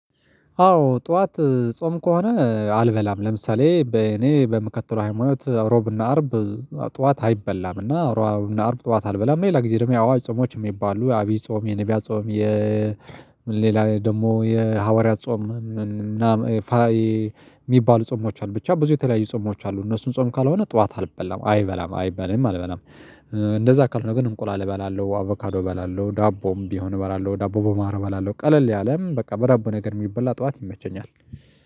አዎ ጠዋት ጾም ከሆነ አልበላም ለምሳሌ በእኔ በምከተለው ህይወት አው ሮብ ና አርብ እ ጠዋት አይበላም እና አው ሮብ ና አርብ ጠዋት አልበላም። ሌላ ጊዜ ደግሞ የአዋጅ ጾሞች የሚባሉ ዓቢይ ጾም የነቢያ ጾም የ ሌላ ደግሞ የሐዋርያት ጾም እና ፋይ የሚባሉ ጾሞች አሉ። ብቻ ብዙ የተለያዩ ጾሞች አሉ። እነሱን ጾም ካልሆነ ጠዋት አልበላም አይበላም አይበላም አልበላም እ እንደዛ ካልሆነ ግን እንቁላል እበላለሁ። አቮካዶ እበላለሁ ዳቦም ቢሆን እበላለሁ። ዳቦ በማር እበላለሁ ቀለል ያለ በቃ በዳቦ ነገር የሚበላ ጠዋት ይመቸኛል